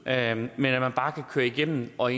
at man bare kan køre igennem og